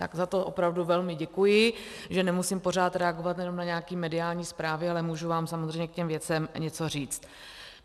Tak za to opravdu velmi děkuji, že nemusím pořád reagovat jen na nějaké mediální zprávy, ale můžu vám samozřejmě k těm věcem něco říct.